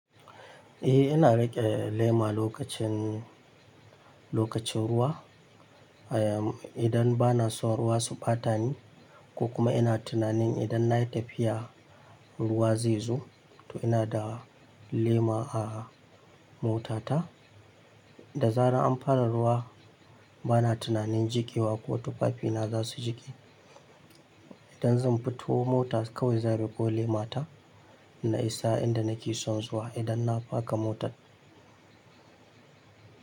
E, ina riƙe lema lokacin, lokacin ruwa. Idan ba na son ruwa su ɓata ni ko kuma ina tunanin idan na yi tafiya. Ruwa zai zo, to ina da lema a mota ta. Da zarar an fara ruwa bana tunanin jiƙewa ko tufafi na za su jiƙe. Idan zan fito mota kawai zan a rufo lema ta na isa inda nake son zuwa idan na faka motar.